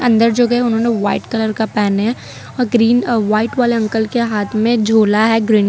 अंदर जो गए है उन्होंने व्हाइट कलर का पैने हैं और ग्रीन अ वाइट वाले अंकल के हाथ में झूला है ग्रीन --